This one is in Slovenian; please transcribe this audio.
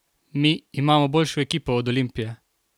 Mi imamo boljšo ekipo od Olimpije!